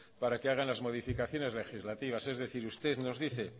para que hagan las modificaciones legislativas es decir usted nos dice